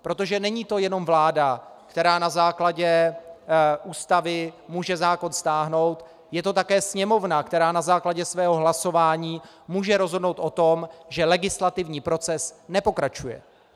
Protože není to jenom vláda, která na základě Ústavy může zákon stáhnout, je to také Sněmovna, která na základě svého hlasování může rozhodnout o tom, že legislativní proces nepokračuje.